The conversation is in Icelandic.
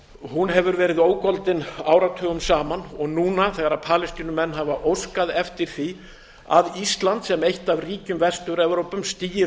og hún hefur verið ógoldin áratugum saman og núna þegar palestínumenn hafa óskað eftir því að ísland sem eitt af ríkjum vestur evrópu stígi